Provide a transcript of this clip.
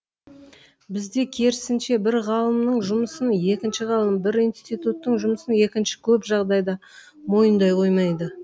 бізде керісінше бір ғалымның жұмысын екінші ғалым бір институттың жұмысын екіншісі көп жағдайда мойындай қоймайды